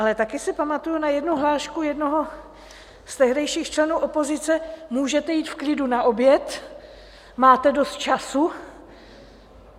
Ale taky si pamatuju na jednu hlášku jednoho z tehdejších členů opozice - můžete jít v klidu na oběd, máte dost času...